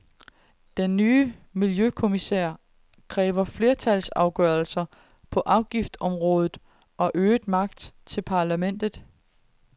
Den nye miljøkommissær kræver flertalsafgørelser på afgiftsområdet og øget magt til parlamentet.